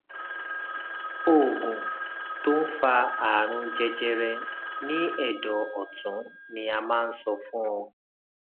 oògùn tó ń fa àrùn jẹjẹrẹ ní ẹdọ ọtún ni a máa ń sọ fún ọ